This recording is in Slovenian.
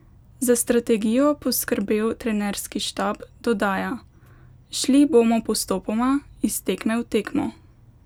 Za strategijo poskrbel trenerski štab, dodaja: "Šli bomo postopoma, iz tekme v tekmo.